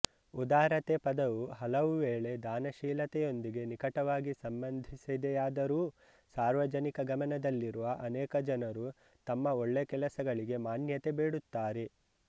ಉದಾರತೆ ಪದವು ಹಲವುವೇಳೆ ದಾನಶೀಲತೆಯೊಂದಿಗೆ ನಿಕಟವಾಗಿ ಸಂಬಂಧಿಸಿದೆಯಾದರೂ ಸಾರ್ವಜನಿಕ ಗಮನದಲ್ಲಿರುವ ಅನೇಕ ಜನರು ತಮ್ಮ ಒಳ್ಳೆ ಕೆಲಸಗಳಿಗೆ ಮಾನ್ಯತೆ ಬೇಡುತ್ತಾರೆ